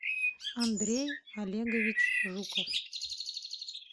андрей олегович жуков